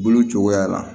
Bolo cogoya la